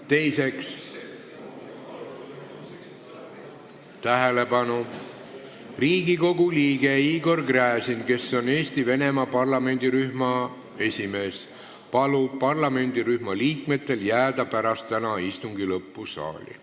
Teiseks, Riigikogu liige Igor Gräzin, kes on Eesti-Venemaa parlamendirühma esimees, palub parlamendirühma liikmetel jääda täna pärast istungi lõppu saali.